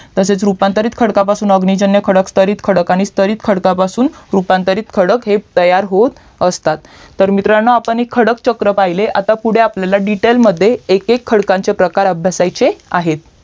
तसेच रूपांतरित खडकपासून अग्निजन्य खडक स्थरिक खडक आणि स्थरीत खडकापासून रूपांतरित खडक हे तयार होत असतात तर मित्रांनो आपण हे खडक चक्र पाहिले आता पुढे आपल्याला detail मध्ये एक एक खडकचे प्रकार आब्यासायचे आहेत